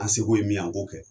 An seko ye min ye an k'o kɛ